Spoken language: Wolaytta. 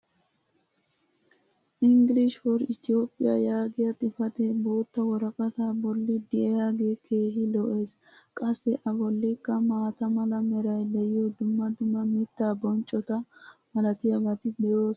"english for ethiopia" yaagiya xifatee bootta woraqataa boli diyaagee keehi lo'ees. qassi a bollikka maata mala meray diyo dumma dumma mittaa bonccota malatiyaabati de'oosona.